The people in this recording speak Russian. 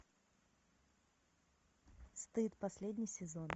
стыд последний сезон